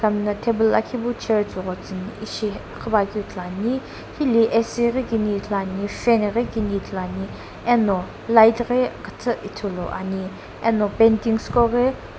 khami no table lakhipu chair tsugho tsuni ishi khipaakiu ithulu ani hili ac ghi kini ithulu ani fan ghi kini ithulu ani eno light ghi khutu ithulu ani eno paintings qoghi.